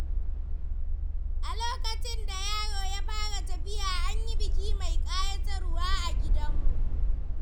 A lokacin da yaro ya fara tafiya, an yi biki mai kayatarwa a gidanmu.